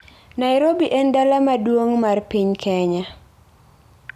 Nairobi en dala maduong' mar piny Kenya.